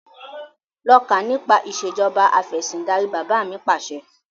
Lọ kà nípa ìsèjọba afẹ̀sindarí! Bàbá mi Pàṣẹ.